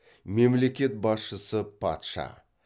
мемлекет басшысы патша